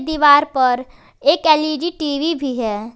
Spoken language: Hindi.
दीवार पर एक एल_इ_डी टीवी भी है।